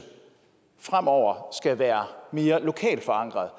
fremover skal være mere lokalt forankret